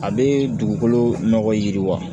A bɛ dugukolo nɔgɔ yiriwa